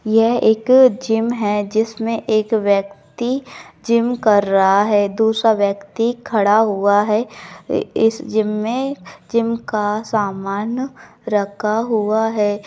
यह एक जिम है जिसमें एक व्यक्ति जिम कर रहा है दूसरा व्यक्ति खड़ा हुआ है। इ इस जिम में जिम का सामान रखा हुआ है।